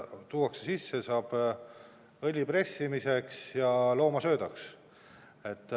Seda tuuakse sisse, saab kasutada õli pressimiseks ja loomasöödaks.